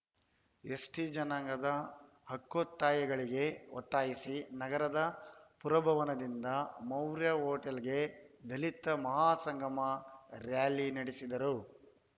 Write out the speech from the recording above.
ST ಜನಾಂಗದ ಹಕ್ಕೊತ್ತಾಯಗಳಿಗೆ ಒತ್ತಾಯಿಸಿ ನಗರದ ಪುರಭವನದಿಂದ ಮೌರ್ಯ ಹೊಟೇಲ್‌ವರೆಗೆ ದಲಿತ ಮಹಾಸಂಗಮ ರ‍್ಯಾಲಿ ನಡೆಸಿದರು